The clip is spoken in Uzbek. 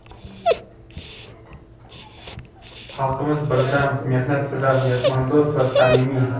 Xalqimiz birdam, mehnatsevar, mehmondo‘st va samimiy.